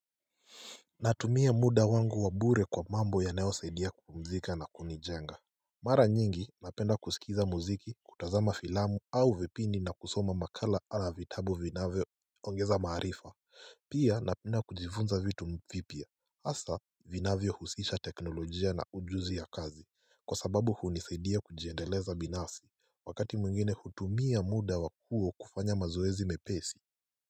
Natumia muda wangu wa bure kwa mambo yanayo saidia kupumzika na kunijenga Mara nyingi napenda kusikiza muziki kutazama filamu au vipindi na kusoma makala ama vitabu vinavyo ongeza maarifa Pia napenda kujifunza vitu vipya hasa vinavyo husisha teknolojia na ujuzi ya kazi kwa sababu hunisaidia kujiendeleza binafsi wakati mwingine hutumia muda wakuu kufanya mazoezi mepesi.